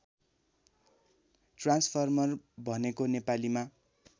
transformer भनेको नेपालीमा